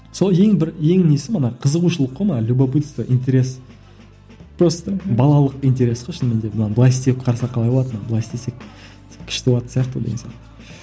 сол ең бір ең несі мына қызығушылық қой мына любопытство интерес просто балалық интерес қой шынымен де мынаны былай істеп қарасақ қалай болады мынаны былай істесек күшті болатын сияқты деген сияқты